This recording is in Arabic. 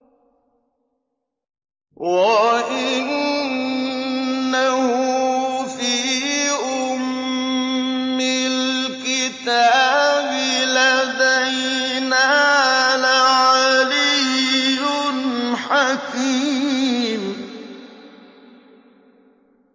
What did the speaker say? وَإِنَّهُ فِي أُمِّ الْكِتَابِ لَدَيْنَا لَعَلِيٌّ حَكِيمٌ